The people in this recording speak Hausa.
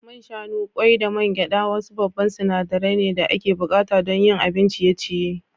Man shanu, kwai da man gyada wasu babba sinadaran ne da ake bukata don yin abin ciye-ciye.